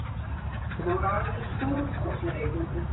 Þetta voru alveg stórkostlegir tónleikar